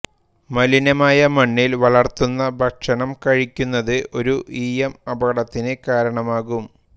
മലിനമായ മണ്ണിൽ വളർത്തുന്ന ഭക്ഷണം കഴിക്കുന്നത് ഒരു ഈയം അപകടത്തിന് കാരണമാകും